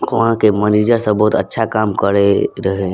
वहाँ के मनीजर सब बहुत अच्छा काम करे रहे।